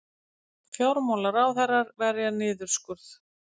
Fjármálaráðherrar verja niðurskurð